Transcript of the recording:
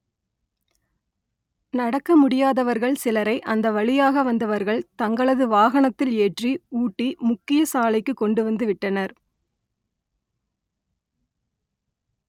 நட‌க்க முடியாதவ‌ர்க‌ள் ‌சிலரை அ‌ந்த வ‌ழியாக வ‌ந்தவ‌ர்க‌ள் த‌ங்களது வாகன‌த்‌தி‌ல் ஏ‌ற்‌றி ஊ‌ட்டி மு‌க்‌கிய சாலை‌க்கு கொ‌ண்டு வ‌ந்து ‌வி‌ட்டன‌ர்